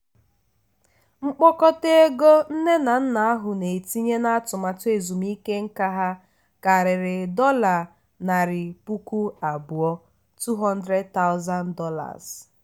mkpokọta ego nne na nna ahụ na-etinye n'atụmaatụ ezumike nká ha karịrị dollar narị puku abụọ ($200000).